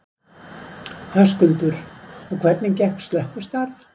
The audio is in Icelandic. Höskuldur: Og hvernig gekk slökkvistarf?